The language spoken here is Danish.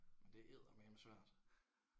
Men det er eddermaneme svært